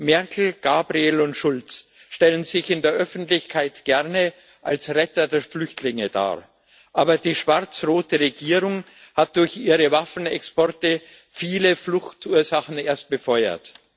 Merkel, Gabriel und Schulz stellen sich in der Öffentlichkeit gerne als Retter der Flüchtlinge dar, aber die schwar zrote Regierung hat durch ihre Waffenexporte viele Fluchtursachen erst befeuert.